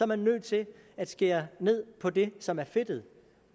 man nødt til at skære ned på det som er fedtet